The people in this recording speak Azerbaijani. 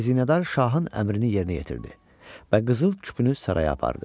Xəzinədar şahın əmrini yerinə yetirdi və qızıl küpünü saraya apardı.